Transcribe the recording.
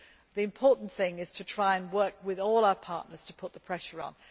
The important thing is to try to work with all our partners to put the pressure